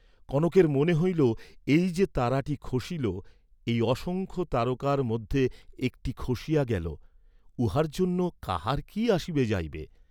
কনকের মনে হইল এই যে তারাটি খসিল, এই অসংখ্য তারকার মধ্যে একটি খসিয়া গেল, উহার জন্য কাহার কি আসিবে যাইবে?